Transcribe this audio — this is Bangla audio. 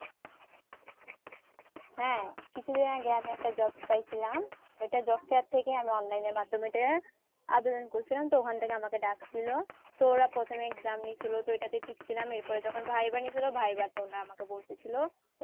হ্যাঁ কিছুদিন আগে আমি একটা job পাইছিলাম ওইটা job fair থেকে আমি online এর মাধ্যমে ওইটা আবেদন করসিলাম তো ওখান থেকে আমাকে ডাকসিলো তো ওরা প্রথমে exam নিছিলো তো ওইটাতে ঠিকসিলাম এরপর যখন viva নিছিলো viva তে ও ওনারা আমাকে বলতেসিলো